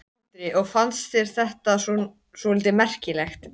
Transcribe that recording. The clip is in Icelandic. Andri: Og fannst þetta svolítið merkilegt?